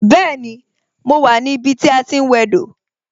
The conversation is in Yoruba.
Bẹẹni, mo wà ní ibi tí a ti ń wẹ dò